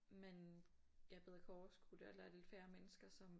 Man ja bedre kan overskue det eller der lidt færre mennesker som